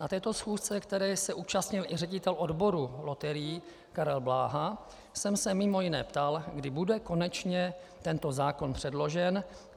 Na této schůzce, které se zúčastnil i ředitel odboru loterií Karel Bláha, jsem se mimo jiné ptal, kdy bude konečně tento zákon předložen.